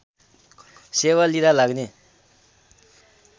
सेवा लिदा लाग्ने